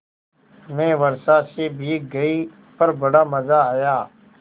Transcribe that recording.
मैं वर्षा से भीग गई पर बड़ा मज़ा आया